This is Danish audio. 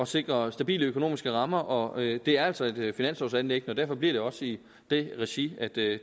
sikre stabile økonomiske rammer og det er altså et finanslovanliggende og derfor bliver det også i det regi at det